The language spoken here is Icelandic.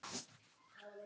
Stjáni skellti